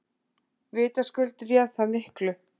Vitaskuld réð það miklu.